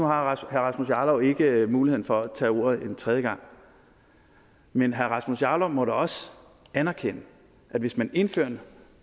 har herre rasmus jarlov ikke muligheden for at tage ordet en tredje gang men herre rasmus jarlov må da også anerkende at hvis man indfører en